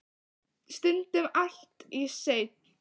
Stundum allt í senn.